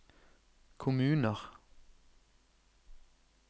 kommuner